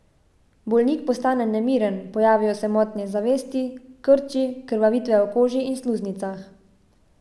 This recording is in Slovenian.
Bolnik postane nemiren, pojavijo se motnje zavesti, krči, krvavitve v koži in sluznicah.